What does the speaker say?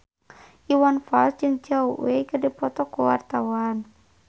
Iwan Fals jeung Zhao Wei keur dipoto ku wartawan